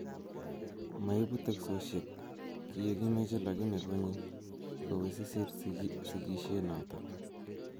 Maibu teksosiek kiekimoche lakini konye kowisisit sikishet noto